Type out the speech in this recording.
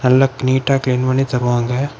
நல்லா நீட்ட கிளீன் பண்ணி தகருவாங்க.